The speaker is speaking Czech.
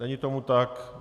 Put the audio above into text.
Není tomu tak.